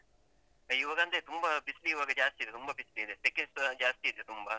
ಇವಗಂದ್ರೆ ತುಂಬ ಬಿಸ್ಲಿವಾಗ ಜಾಸ್ತಿ ಇದೆ ತುಂಬ ಬಿಸ್ಲಿದೆ ಸೆಕೆಸ ಜಾಸ್ತಿ ಇದೆ ತುಂಬ.